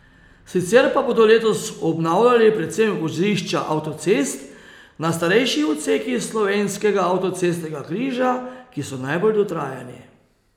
Sicer pa bodo letos obnavljali predvsem vozišča avtocest na starejših odsekih slovenskega avtocestnega križa, ki so najbolj dotrajani.